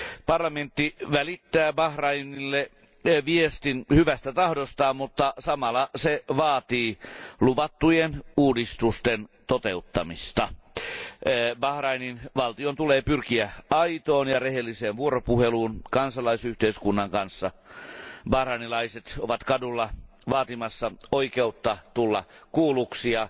Parlamentti välittää Bahrainille viestin hyvästä tahdostaan, mutta samalla se vaatii luvattujen uudistusten toteuttamista. Bahrainin valtion tulee pyrkiä aitoon ja rehelliseen vuoropuheluun kansalaisyhteiskunnan kanssa. Bahrainilaiset ovat kaduilla vaatimassa oikeutta tulla kuulluksi ja